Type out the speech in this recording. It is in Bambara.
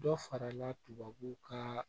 Dɔ farala tubabuw kaa